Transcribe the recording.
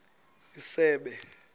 isebe